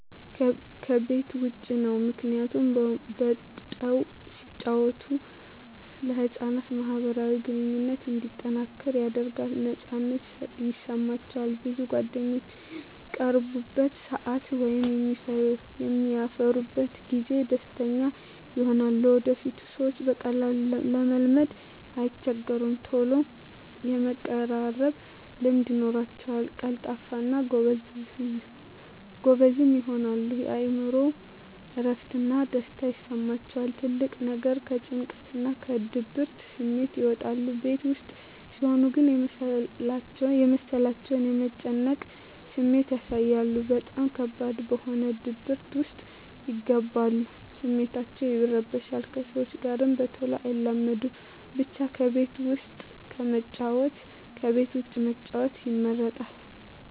ከቤት ዉጭ ነዉ ምክንያቱም ወጠዉ ሲጫወቱ ለህፃናት ማህበራዊ ግንኙነቶች እንዲጠናከር ያደርጋል ነፃነት ይሰማቸዋል ብዙ ጓደኛም በሚቀርቡበት ሰአት ወይም በሚያፈሩበት ጊዜ ደስተኛ ይሆናሉ ለወደፊቱ ሰዎችን በቀላሉ ለመልመድ አይቸገሩም ተሎ የመቀራረብ ልምድ ይኖራቸዉል ቀልጣፋ እና ጎበዝም ይሆናሉ የእምሮአቸዉ እረፍት እና ደስታ ይሰማቸዋል ትልቁ ነገር ከጭንቀትና ከድብርት ስሜት ይወጣሉ ቤት ዉስጥ ሲሆን ግን የመሰላቸት የመጨነቅ ስሜት ያሳያሉ በጣም ከባድ በሆነ ድብርት ዉስጥ ይገባሉ ስሜታቸዉ ይረበሻል ከሰዎች ጋር በተሎ አይላመዱም ብቻ ከቤት ዉስጥ ከመጫወት ከቤት ዉጭ መጫወት ይመረጣል